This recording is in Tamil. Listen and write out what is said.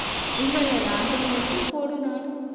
இல்லை, இல்லை lockdown மட்டும் போடும்